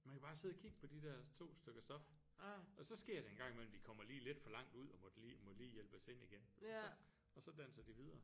Man kan bare sidde og kigge på de der to stykker stof og så sker det engang imellem de kommer lige lidt for langt ud og måtte lige må lige hjælpes ind igen og så og så danser de videre